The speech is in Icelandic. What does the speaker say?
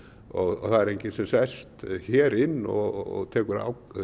og það er enginn sem sest hér inn og tekur